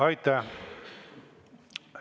Aitäh!